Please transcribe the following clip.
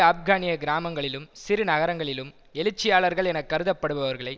ஆப்கானிய கிராமங்களிலும் சிறு நகரங்களிலும் எழுச்சியாளர்கள் என கருதப்படுபவர்களை